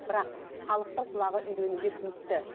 бірақ халықтың құлағы үйренуге тиісті